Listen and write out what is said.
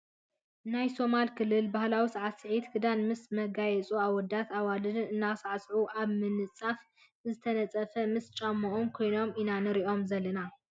ናይ ሶማሌ ክልል ባህላዊ ሳዕስዒትን ክዳንን ምስ መጋየፂኡ ኣወዳትን ኣዋልድን እናሳዕስዑ ኣብ ምንፃፍ ዝተነፀፈ ምስ ጫምኦም ኮይኖም ኢና ንሪኦም ዘለና ።